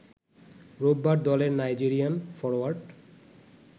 রোববার দলের Nigerian forward